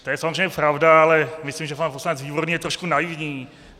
To je samozřejmě pravda, ale myslím, že pan poslanec Výborný je trošku naivní.